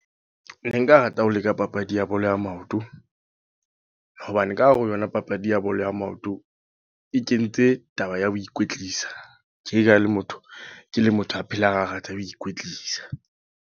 Ne nka rata ho leka papadi ya bolo ya maoto. Hobane ka hare ho yona papadi ya bolo ya maoto. E kentse taba ya ho ikwetlisa. Tje ka ha ke le motho, ke le motho a phelang a rata ho ikwetlisa.